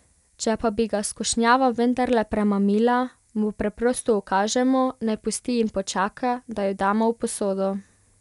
Če pa bi ga skušnjava vendarle premamila, mu preprosto ukažemo, naj pusti in počaka, da jo damo v posodo.